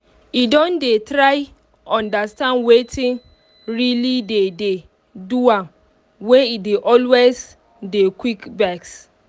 e don dey try understand wetin really dey dey do am wey e dey always dey quick vex